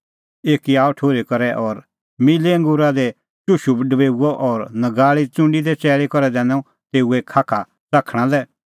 एक आअ ठुर्ही करै और मिल्लै अंगूरे रसा दी चुशू डबेऊअ और नगाल़ीए च़ुंडी दी चैल़ी करै दैनअ तेऊए खाखा च़ाखणा लै